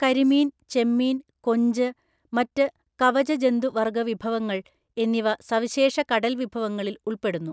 കരിമീൻ, ചെമ്മീൻ, കൊഞ്ച്, മറ്റ് കവചജന്തുവര്‍ഗ്ഗവിഭവങ്ങൾ എന്നിവ സവിശേഷ കടൽവിഭവങ്ങളില്‍ ഉള്‍പ്പെടുന്നു.